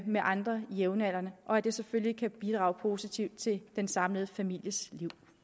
med andre jævnaldrende og at det selvfølgelig kan bidrage positivt til den samlede families